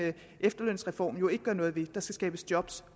efterlønsreform jo ikke gøre noget ved der skal skabes job